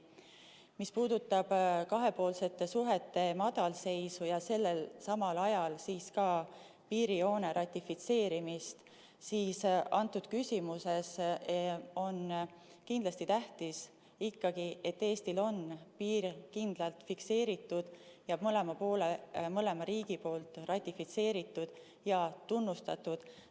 Mis puudutab kahepoolsete suhete madalseisu ja samal ajal ka piirijoone ratifitseerimist, siis antud küsimuses on kindlasti tähtis ikkagi see, et Eestil on piir kindlalt fikseeritud ja mõlema riigi poolt ratifitseeritud ja tunnustatud.